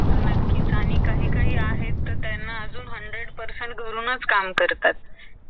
नक्कीच आणि काही काही आहे ते hundred percent घरूनच काम करतात